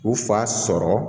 U fa sɔrɔ